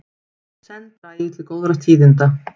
Senn dragi til góðra tíðinda